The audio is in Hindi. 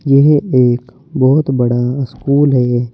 यह एक बहुत बड़ा स्कूल है ये।